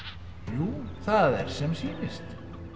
jú það er sem sýnist